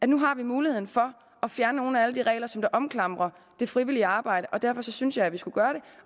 nu har muligheden for at fjerne nogle af alle de regler som omklamrer det frivillige arbejde og derfor synes jeg vi skulle gøre det